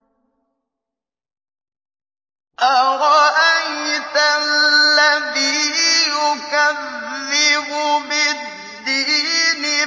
أَرَأَيْتَ الَّذِي يُكَذِّبُ بِالدِّينِ